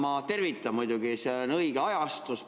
Ma tervitan, muidugi, seda õiget ajastust.